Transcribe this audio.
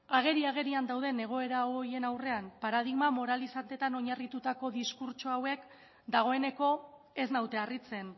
ageri agerian dauden egoera horien aurrean paradigma moralizanteetan oinarritutako diskurtso hauek dagoeneko ez naute harritzen